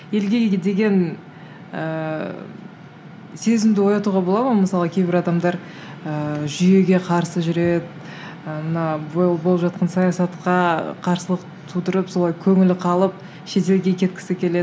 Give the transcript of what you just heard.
елге деген ііі сезімді оятуға бола ма мысалы кейбір адамдар ііі жүйеге қарсы жүреді ыыы мына болып жатқан саясатқа қарсылық тудырып солай көңілі қалып шетелге кеткісі келеді